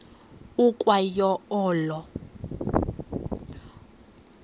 ukwa yo olo